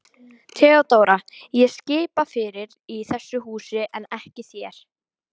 THEODÓRA: Ég skipa fyrir í þessu húsi en ekki þér.